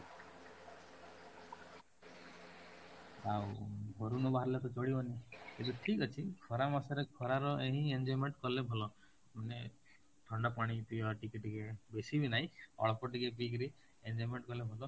ଆଉ ଘରୁ ନ ବାହାରିଲେ ତ ଚଳିବନି ଆଛା ଠିକ ଅଛି ଖରା ମାସରେ ଖରାର ହିଁ enjoyment କଲେ ଭଲ, ମାନେ ଥଣ୍ଡା ପାଣି ପିଇବା ଟିକେ ଟିକେ, ବେଶୀ ବି ନାଇଁ ଅଳ୍ପ ଟିକେ ପିଇକରି enjoyment କଲେ ଭଲ